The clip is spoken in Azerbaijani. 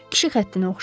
Kişi xəttinə oxşayır.